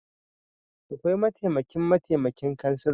Aƙwai mataimaƙin mataimaƙin ƙansila